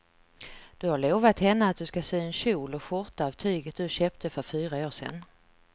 Du har lovat henne att du ska sy en kjol och skjorta av tyget du köpte för fyra år sedan.